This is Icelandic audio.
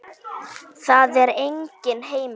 Það er enginn heima.